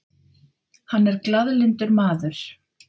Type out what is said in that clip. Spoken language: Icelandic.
Hann er glaðlyndur maður.